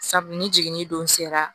Sabu ni jiginini don sera